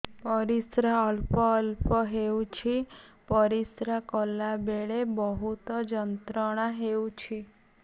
ପରିଶ୍ରା ଅଳ୍ପ ଅଳ୍ପ ହେଉଛି ପରିଶ୍ରା କଲା ବେଳେ ବହୁତ ଯନ୍ତ୍ରଣା ହେଉଛି